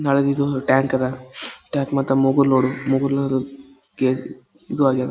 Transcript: ನಾಳೆದಿದು tank ಅದ್ tank ಮತ್ತೆ ಮೊಗಲ್ ನೋಡು ಮೊಗಲನುರುಗೆ ಇದು ಆಗೆವೆ .